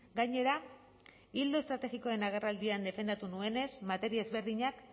gainera ildo estrategikoen agerraldian defendatu nuenez materia ezberdinak